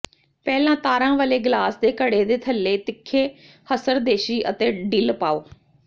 ਪਹਿਲਾਂ ਤਾਰਾਂ ਵਾਲੇ ਗਲਾਸ ਦੇ ਘੜੇ ਦੇ ਥੱਲੇ ਤਿੱਖੇ ਹਸਰਦੇਸ਼ੀ ਅਤੇ ਡਿੱਲ ਪਾਓ